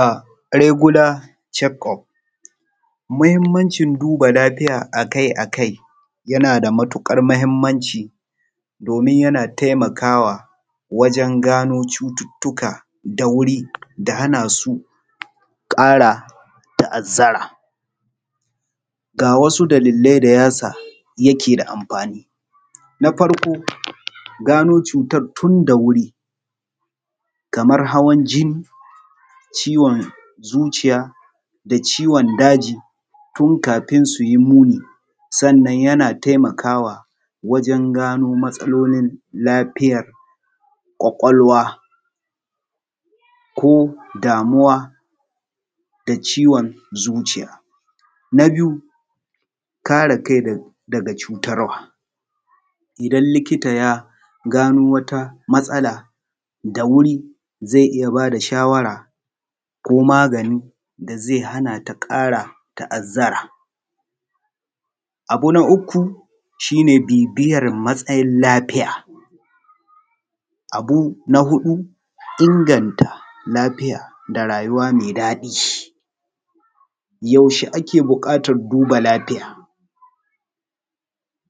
Ahh regular check-up. Muhimmancin duba lafiya akai-akai yana da matuƙar muhimmanci domin yana taimakawa wajen gano cututtuka da wuri da hana su ƙara ta’azzara. Ga wasu dalillai da ya sa yake da amfani. Na farko, gano cutar tun da wuri kamar hawan jinni, ciwon zuciya, da ciwon daji, tun kafin su yi muni. Sannan yana taimakawa wajen gano matsalolin lafiyar ƙwaƙwalwa ko damuwa da ciwon zuciya. Na biyu, kare kai daga cutarwa; idan likita ya gano wata matsala da wuri zai iya bada shawara ko magani da zai hana ta ƙara ta’azzara. Abu na uku shi ne bibiyar matsayin lafiya. Abu na huɗu inganta lafiya da rayuwa mai daɗi. Yaushe ake buƙatar duba lafiya,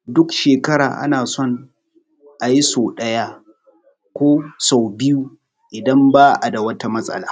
duk shekara ana son a yi sau ɗaya ko sau biyu idan ba a da wata matsala.